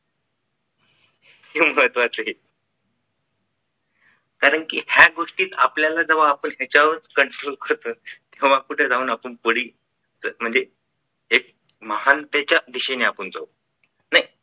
हे महत्त्वाच आहे कारण की या गोष्टीत आपल्याला जेव्हा आपण विचारून जेव्हा आपण confirm करतो तेव्हा कुठे जाऊन आपण कोळी हेच महान तिच्याविषयी आपण जाऊ नाही